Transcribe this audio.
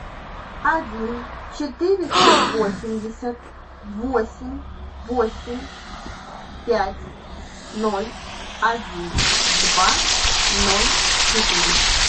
один четыреста восемьдесят восемь восемь пять ноль один два ноль четыре